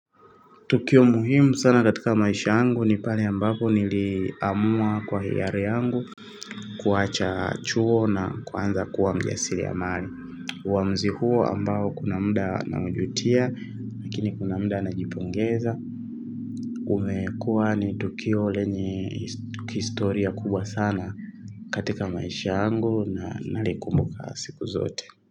Tukio muhimu sana katika maisha yangu ni pale ambapo niliamua kwa hiyari yangu kuacha chuo na kuanza kuwa mjasiriamali. Uamuzi huo ambao kuna mda naujutia. Lakini kuna mda najipongeza. Umekua ni tukio lenye historia kubwa sana katika maisha angu na nalikumbuka siku zote.